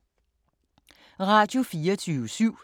Radio24syv